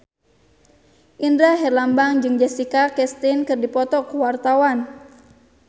Indra Herlambang jeung Jessica Chastain keur dipoto ku wartawan